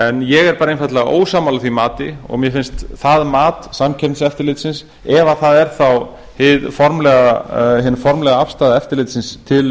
en ég er einfaldlega ósammála því mati og mér finnst það án samkeppniseftirlitsins ef það er á hin formlega afstaða eftirlitsins til